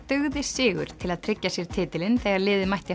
dugði sigur til að tryggja sér titilinn þegar liðið mætti